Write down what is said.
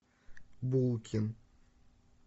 булкин